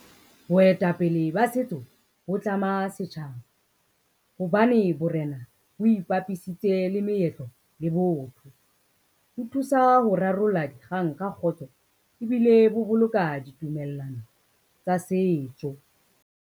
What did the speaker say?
Boetapele ba setso ho tlama setjhaba, hobane borena bo ipapisitse le meetlo le botho. Ho thusa ho rarolla di kgang ka kgotso ebile ho boloka ditumellano tsa setso.